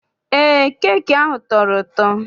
Eé, keeki ahụ tọrọ ụtọ.